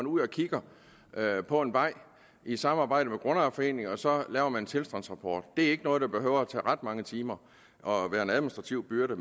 ud og kigger på en vej i samarbejde med grundejerforeningen og så laver man en tilstandsrapport det er ikke noget der behøver at tage ret mange timer og være en administrativ byrde